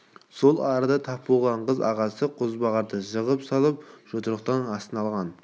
сол арада тап болған қыз ағасы қозбағарды жығып салып жұдырықтың астына алған